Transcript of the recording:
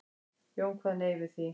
Jón kvað nei við því.